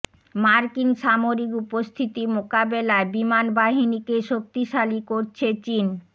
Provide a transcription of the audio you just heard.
মার্কিন সামরিক উপস্থিতি মোকাবেলায় বিমান বাহিনীকে শক্তিশালী করছে চীন